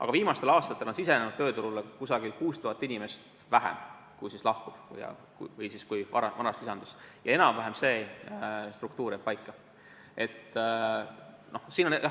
Aga viimastel aastatel on tööturule sisenenud umbes 6000 inimest vähem, kui praegu lahkub või kui vanasti lisandus, ja see struktuur jääb enam-vähem paika.